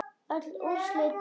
Öll úrslit dagsins